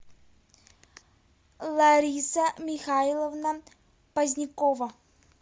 лариса михайловна позднякова